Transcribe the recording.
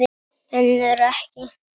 Önnur ekki.